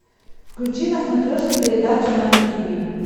включи на смотрешке передачу нано ти ви